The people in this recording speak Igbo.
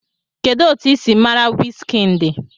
Kedu otu ị si mara Wizkind?